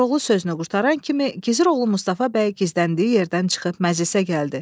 Koroğlu sözünü qurtaran kimi, gizir oğlu Mustafa bəy gizləndiyi yerdən çıxıb məclisə gəldi.